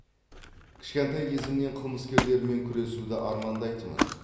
кішкентай кезімнен қылмыскерлермен күресуді армандайтынмын